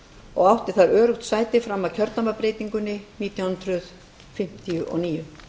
og átti þar öruggt sæti fram að kjördæmabreytingunni nítján hundruð fimmtíu og níu